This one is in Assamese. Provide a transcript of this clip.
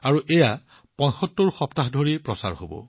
আৰু মোক কোৱা হৈছিল যে এই ধাৰাবাহিক ৭৫ সপ্তাহ ধৰি চলিব